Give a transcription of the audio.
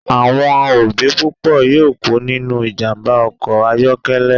Awọn obi pupo yoo ku ninu ijamba ọkọ ayọkẹlẹ